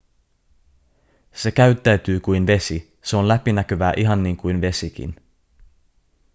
se käyttäytyy kuin vesi se on läpinäkyvää ihan niin kuin vesikin